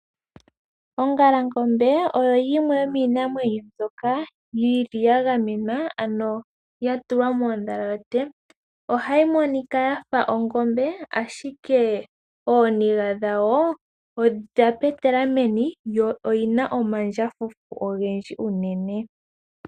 Ongalangombe oyo yimwe yomiinamwenyo mbyoka yili ya gamenwa ano ya tulwa moondhalate. Ohayi monika yafa ongombe ashike ooniga dhawo odha petela meni yo oyina omandjafufu ogendji unene.